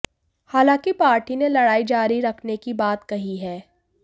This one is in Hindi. हालांकि पार्टी ने लड़ाई जारी रखने की बात कही है